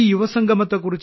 ഈ യുവസംഗമത്തെ